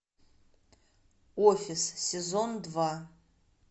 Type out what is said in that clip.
офис сезон два